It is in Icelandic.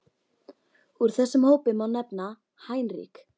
Úr þessum hópi má nefna: Heinrich